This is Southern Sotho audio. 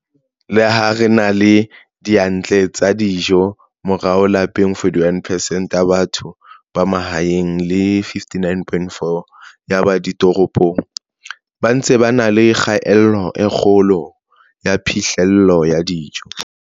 Le ha re na le diyantle tsa dijo, morao lapeng 41 percent ya batho ba mahaeng le 59 point 4 ya ba ditoropong ba ntse ba na le kgaello e kgolo ya phihlello ya dijo.